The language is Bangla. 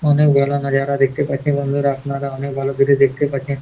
অনেক ঝোলানো যারা দেখতে পাচ্ছেন। বন্ধুরা আপনারা অনেক ভালো করে দেখতে পাচ্ছেন।